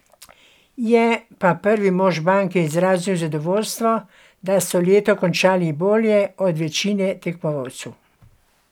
Je pa prvi mož banke izrazil zadovoljstvo, da so leto končali bolje od večine tekmecev.